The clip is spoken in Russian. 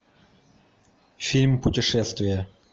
фильм путешествие